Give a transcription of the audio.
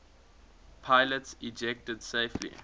pilots ejected safely